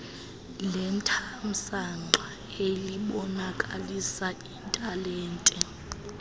lethamsanqa elibonakalisa italente